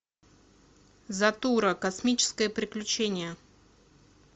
затура космическое приключение